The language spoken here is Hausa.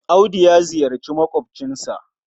Audu ya ziyarci maƙwabcinsa.